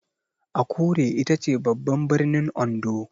Akure itace babban birnin Ondo.